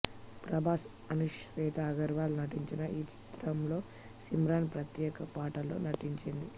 ప్రభాస్ అన్షు శ్వేతా అగర్వాల్ నటించిన ఈ చిత్రంలో సిమ్రాన్ ప్రత్యేక పాటలో నటించింది